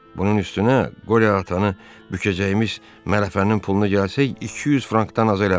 Bunun üstünə qore atanı bükəcəyimiz mərəfənin pulunu gəlsək, 200 frankdan az eləmir.